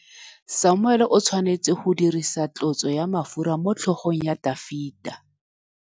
Samuele o tshwanetse go dirisa tlotsô ya mafura motlhôgong ya Dafita.